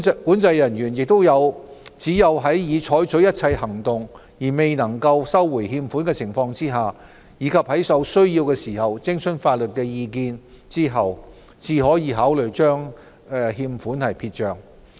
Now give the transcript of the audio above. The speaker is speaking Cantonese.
管制人員只有在已採取一切行動而仍未能收回欠款的情況下，以及在有需要時徵詢法律意見後，才可考慮將欠款撇帳。